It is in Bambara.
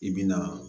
I bi na